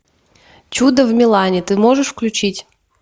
чудо в милане ты можешь включить